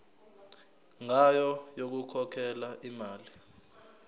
ngayo yokukhokhela imali